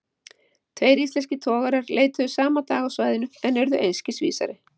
Tveir íslenskir togarar leituðu sama dag á svæðinu, en urðu einskis vísari.